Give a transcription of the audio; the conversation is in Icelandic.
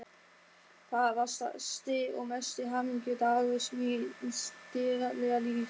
Það var stærsti og mesti hamingjudagur míns dýrðlega lífs